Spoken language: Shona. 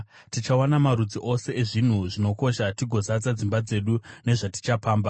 tichawana marudzi ose ezvinhu zvinokosha tigozadza dzimba dzedu nezvatichapamba;